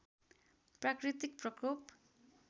प्राकृतिक प्रकोप